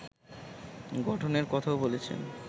গঠনের কথাও বলেছেন